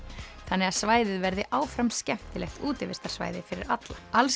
þannig að svæðið verði áfram skemmtilegt útivistarsvæði fyrir alla